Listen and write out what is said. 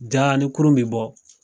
Jaa ni kurun bi bɔ.